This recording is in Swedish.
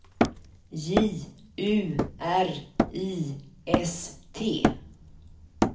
J U R I S T